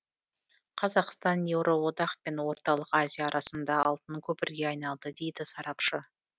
қазақстан еуроодақ пен орталық азия арасында алтын көпірге айналды дейді сарапшы